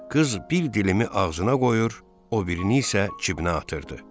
Qız bir dilimi ağzına qoyur, o birini isə cibinə atırdı.